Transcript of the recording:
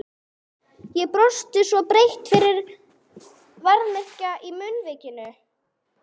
Ég brosti svo breitt að mig verkjaði í munnvikin.